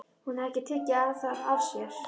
Hún hafði ekki tekið það af sér.